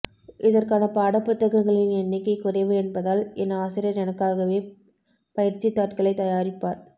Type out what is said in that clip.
இதற்கான பாடப்புத்தகங்களின் எண்ணிக்கை குறைவு என்பதால் என் ஆசிரியர் எனக்காகவே பயிற்சித்தாட்களைத் தயாரிப்பார்